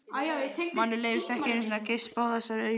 Manni leyfist ekki einu sinni að geispa á þessari aumu